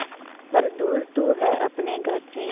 पर दूर तू है अपने घर से